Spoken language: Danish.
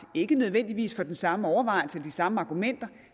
ikke nødvendigvis af den samme overvejelse og de samme argumenter